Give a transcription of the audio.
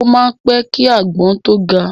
O máa ń pẹ́ ki igi àgbọn tó ga.